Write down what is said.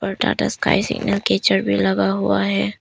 Tata Sky signal catcher भी लगा हुआ है।